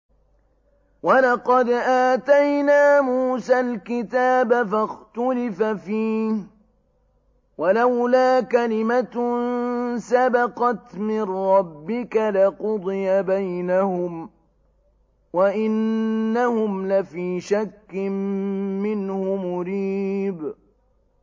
وَلَقَدْ آتَيْنَا مُوسَى الْكِتَابَ فَاخْتُلِفَ فِيهِ ۗ وَلَوْلَا كَلِمَةٌ سَبَقَتْ مِن رَّبِّكَ لَقُضِيَ بَيْنَهُمْ ۚ وَإِنَّهُمْ لَفِي شَكٍّ مِّنْهُ مُرِيبٍ